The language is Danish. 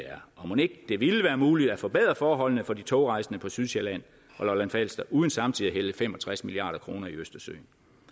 er og mon ikke det ville være muligt at forbedre forholdene for de togrejsende på sydsjælland og lolland falster uden samtidig at hælde fem og tres milliard kroner i østersøen